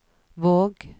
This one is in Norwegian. Våg